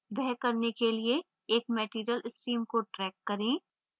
वह करने के लिए एक material stream को drag करें